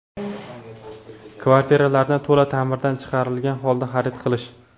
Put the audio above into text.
Kvartiralarni to‘la ta’mirdan chiqarilgan holda xarid qilish.